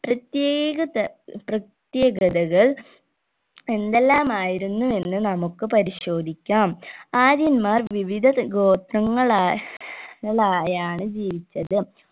പ്രത്യേകത പ്രത്യേകതൾ എന്തെല്ലാമായിരുന്നു എന്ന് നമ്മക്ക് പരിശോധിക്കാം ആര്യൻമ്മാർ വിവിധ ത ഗോത്രങ്ങളാ ളായാണ് ജീവിച്ചത്